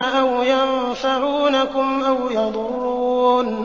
أَوْ يَنفَعُونَكُمْ أَوْ يَضُرُّونَ